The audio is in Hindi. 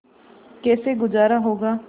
कैसे गुजारा होगा